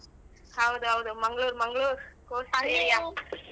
ಹೌದ್ ಹೌದು ಮಂಗಳೂರ್ ಮಂಗಳೂರ್ .